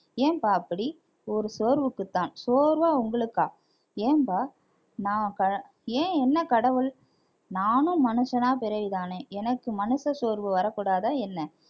ஏம்பா அப்படி ஒரு சோர்வுக்குத்தான் சோர்வா உங்களுக்கா ஏன்பா நான் கா~ ஏன் என்ன கடவுள் நானும் மனுஷனா பிறவிதானே எனக்கு மனுஷ சோர்வு வரக்கூடாதா என்ன